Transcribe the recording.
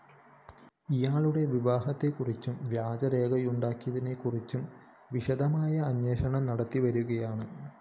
ഇയാളുടെ വിവാഹത്തെക്കുറിച്ചും വ്യാജ രേഖയുണ്ടാക്കിയതിനെക്കുറിച്ചും വിശദമായി അന്വേഷണം നടത്തിവരികയാണ്